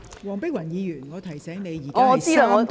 黃碧雲議員，我提醒你，本會現正進行三讀辯論......